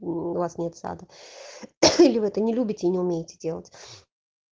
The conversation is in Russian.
у вас нет сада или вы это не любите и умеете делать